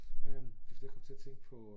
Øh det var fordi jeg kom til at tænke på